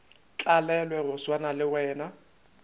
tlalelwe go swana le wena